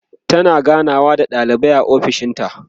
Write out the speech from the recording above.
tana ganawa da ɗalibai a ofishinta